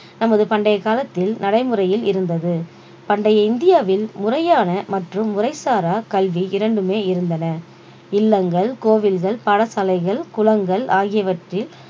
நமது பண்டைய காலத்தில் நடைமுறையில் இருந்தது பண்டைய இந்தியாவில் முறையான மற்றும் முறைசாரா கல்வி இரண்டுமே இருந்தன இல்லங்கள் கோவில்கள் பாடசாலைகள் குளங்கள் ஆகியவற்றில்